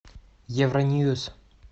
евроньюс